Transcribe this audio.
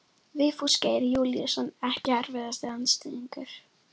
Vigfús Geir Júlíusson Ekki erfiðasti andstæðingur?